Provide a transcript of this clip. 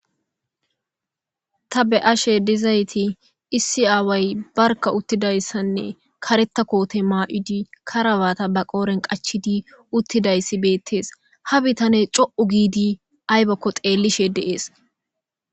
Ta be'ashe dizay issi away berka uttidaysane karetha koote mayidi be qodhen karabate qachchidi dizaysi beetees. Ha bitane co''u gidi aybako xeelishe de'ees.